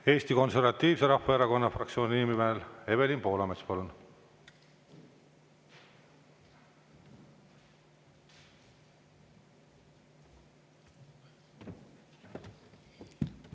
Eesti Konservatiivse Rahvaerakonna fraktsiooni nimel Evelin Poolamets, palun!